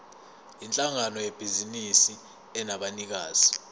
yinhlangano yebhizinisi enabanikazi